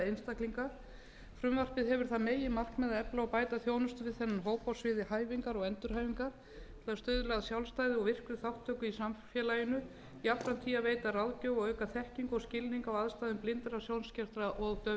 einstaklinga frumvarpið hefur það meginmarkmið að efla og bæta þjónustu við þennan hóp á sviði hæfingar og endurhæfingar til að stuðla að sjálfstæði og virkri þátttöku í samfélaginu jafnframt því að veita ráðgjöf og auka þekkingu og skilning á aðstæðum blindra sjónskertra og daufblindra frumvarp þetta var samið